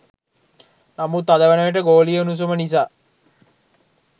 නමුත් අද වනවිට ගෝලීය උණුසුම නිසා